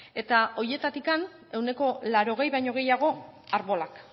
eta horietatik ehuneko laurogei baino gehiago arbolak